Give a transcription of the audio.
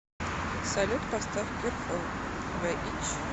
салют поставь кюр фор зе итч